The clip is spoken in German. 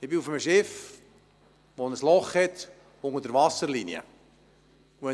Ich befinde mich auf einem Schiff, das unter der Wasserlinie ein Loch aufweist.